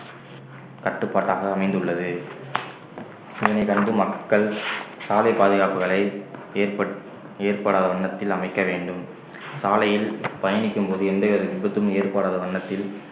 கட்டுப்பாட்டாக அமைந்துள்ளது இதனை கண்டு மக்கள் சாலை பாதுகாப்புகளை ஏற்பட்~ ஏற்படாத வண்ணத்தில் அமைக்க வேண்டும் சாலையில் பயணிக்கும் போது எந்தவித விபத்தும் ஏற்படாத வண்ணத்தில்